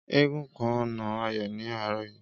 Égúngún kan na Ayọ̀ ní àárọ̀ yìí